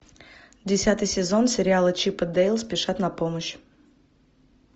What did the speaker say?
десятый сезон сериала чип и дейл спешат на помощь